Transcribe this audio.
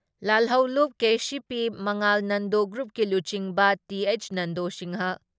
ꯂꯥꯜꯍꯧꯂꯨꯞ KCP Mangal Nando ꯒ꯭ꯔꯨꯞꯀꯤ ꯂꯨꯆꯤꯡꯕ T H Nando Singh